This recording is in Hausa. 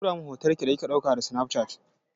Ki turo min hoton ki da kika ɗauka da sinafcat.